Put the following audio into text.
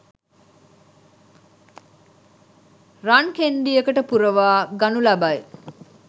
රන් කෙණ්ඩියකට පුරවා ගනු ලබයි.